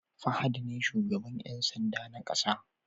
Fahad ne shugaban Yan sanda na ƙasa